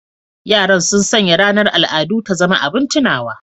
Yaran sun sanya ranar al'adu ta zama abin tunawa